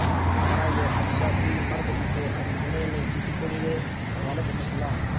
ہمارا یہ خدشہ کہ مرد اسے خریدنے میں جھجکیں گے غلط نکلا